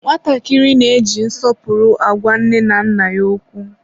nwatakịrị na-eji nsọpụrụ agwa nne na nna ya okwu.